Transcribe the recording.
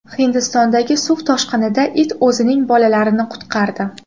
Hindistondagi suv toshqinida it o‘zining bolalarini qutqardi .